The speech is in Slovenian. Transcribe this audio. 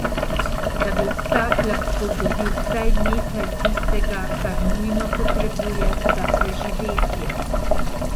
Da bi vsak lahko dobil vsaj nekaj tistega, kar nujno potrebuje za preživetje.